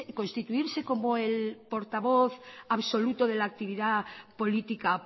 constituirse como el portavoz absoluto de la actividad política